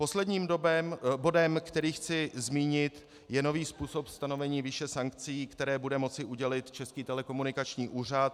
Posledním bodem, který chci zmínit, je nový způsob stanovení výše sankcí, které bude moci udělit Český telekomunikační úřad.